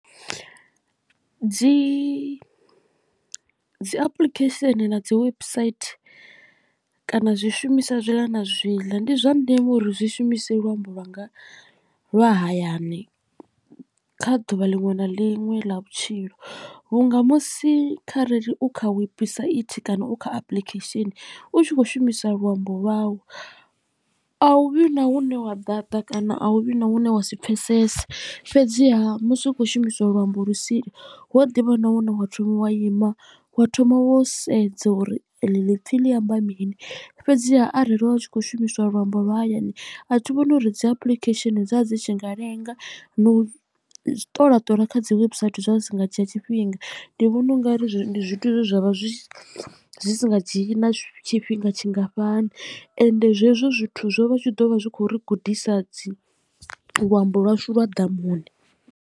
Dzi dzi apuḽikhesheni na dzi website kana zwishumiswa zwi ḽa na zwi ḽa ndi zwa ndeme uri zwi shumise luambo lwanga lwa hayani kha ḓuvha liṅwe na liṅwe ḽa vhutshilo vhunga musi kharali u kha webusaithi kana u kha apulikhesheni u tshi khou shumisa luambo lwau a hu vhi na hune wa data kana a hu vhi na hune wa si pfesese. Fhedziha musi u khou shumisa luambo lu sili hu a ḓivha na hune wa thoma wa ima wa thoma wa sedza uri eḽi ḽiipfhi ḽi amba mini fhedziha arali wa tshi khou shumiswa luambo lwa hayani a thi vhoni uri dzi apuḽikhesheni dza dzi tshi nga lenga na u ṱola ṱola kha dzi website zwa zwi si nga tshiya tshifhinga ndi vhona ungari zwithu zwine zwa vha zwi si nga dzhii na tshifhinga tshingafhani ende zwezwo zwithu zwo vha zwi tshu ḓo vha zwi kho ri gudisa dzi luambo lwashu lwa ḓamuni.